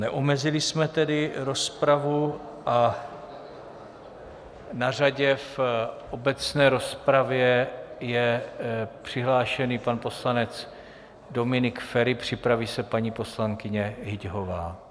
Neomezili jsme tedy rozpravu a na řadě v obecné rozpravě je přihlášený pan poslanec Dominik Feri, připraví se paní poslankyně Hyťhová.